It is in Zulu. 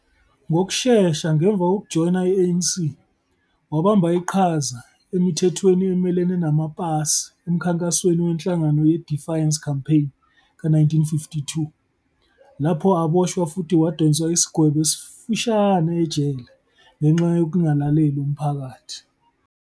Ngokushesha ngemva kokujoyina i-ANC, wabamba iqhaza emithethweni emelene namapasi emkhankasweni wenhlangano ye-Defiance Campaign ka-1952 lapho aboshwa futhi wadonsa isigwebo esifushane ejele ngenxa yokungalaleli umphakathi.